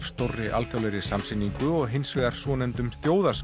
stórri alþjóðlegri sýningu og hins vegar svonefndum